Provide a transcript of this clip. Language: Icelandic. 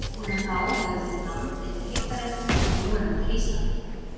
Síðan þá hefur verið land yfir heita reitnum sem nú er undir Íslandi.